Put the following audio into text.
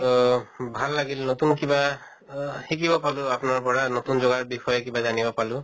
অহ ভাল লাগিল নতুন কিবা অহ শিকিব পাল আপোনাৰ পৰা, নতুন জগাৰ বষয়ে কিবা জানব পালো